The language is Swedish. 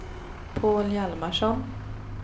Paul Hjalmarsson